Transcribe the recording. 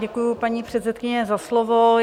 Děkuji, paní předsedkyně, za slovo.